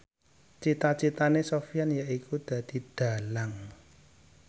cita citane Sofyan yaiku dadi dhalang